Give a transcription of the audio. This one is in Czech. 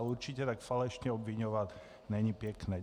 A určitě tak falešně obviňovat, není pěkné.